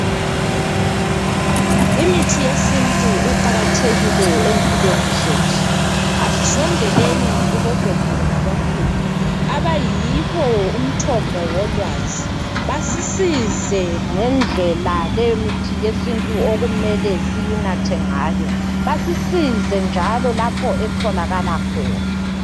Imithi yesintu iqakathekile empilweni zethu asisondeleni kubo gogo labokhulu abayibo umthombo wolwazi basisize ngendlela leyomithi yesintu okumele siyinathe ngayo basisize njalo lapho etholakala khona.